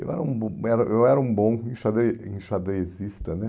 Eu era um bom era eu era um bom enxadre enxadrezista, né?